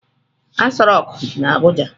Aso rock di na Abuja.